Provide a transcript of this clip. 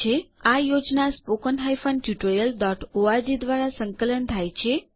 આ યોજના httpspoken tutorialorg દ્વારા સંકલન થાય છે